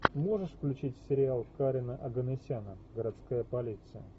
можешь включить сериал карена оганесяна городская полиция